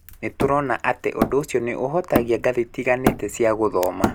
Nĩ tũrona atĩ ũndũ ũcio nĩ ũhutagia ngathĩ itiganĩte cia gũthoma.